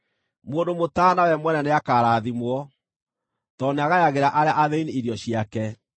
Mũndũ mũtaana we mwene nĩakarathimwo, tondũ nĩagayagĩra arĩa athĩĩni irio ciake.